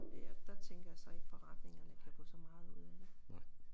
Og der tænker jeg så ikke forretningerne kan få så meget ud af det